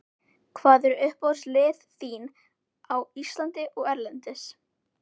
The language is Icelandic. Hvað eru uppáhaldslið þín á Íslandi og erlendis?